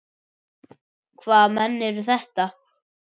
Hvaða menn eru þetta?